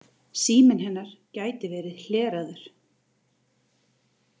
Síminn hennar gæti ver ið hleraður.